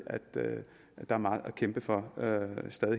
er meget at kæmpe for